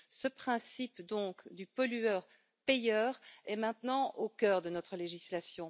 Ce principe du pollueur payeur est maintenant au cœur de notre législation.